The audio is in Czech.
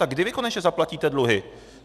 Tak kdy vy konečně zaplatíte dluhy?